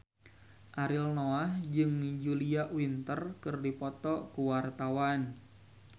Ariel Noah jeung Julia Winter keur dipoto ku wartawan